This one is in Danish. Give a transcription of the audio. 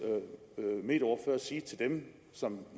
medieordfører sige til dem som